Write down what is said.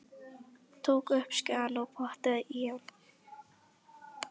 Tók upp skeiðina og potaði í hann.